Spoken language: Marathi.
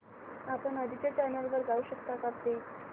आपण आधीच्या चॅनल वर जाऊ शकतो का प्लीज